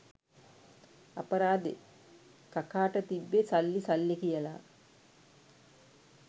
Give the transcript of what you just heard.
අපරාදෙ කකාට තිබ්බෙ සල්ලි සල්ලි කියලා